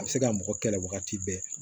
A bɛ se ka mɔgɔ kɛlɛ wagati bɛɛ